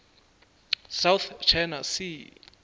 south china sea